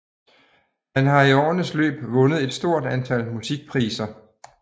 Han har i årenes løb vundet et stort antal musikpriser